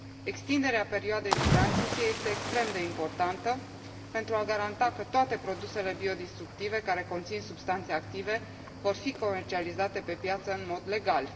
Extinderea perioadei de tranziție este extrem de importantă pentru a garanta că toate produsele biodistructive care conțin substanțe active vor fi comercializate pe piață în mod legal.